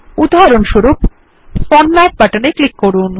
উদাহরণস্বরূপ format button এ click করুন